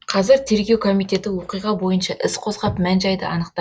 қазір тергеу комитеті оқиға бойынша іс қозғап мән жайды анықтап